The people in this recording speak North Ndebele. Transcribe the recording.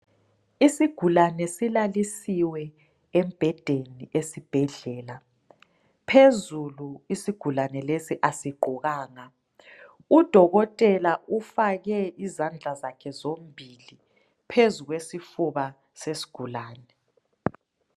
Isigulane silalisiwe embhedeni esibhedlela. Phezulu isigulane lesi asigqokanga. Udokotela ufake izandla zakhe zombili phezu kwesifuba sesigulane.